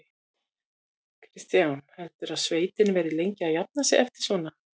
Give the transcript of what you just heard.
Kristján: Heldurðu að sveitin verði lengi að jafna sig eftir svona?